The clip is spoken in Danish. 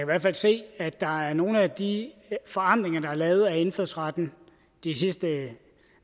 hvert fald se at der er nogle af de forandringer der er lavet af indfødsretten de sidste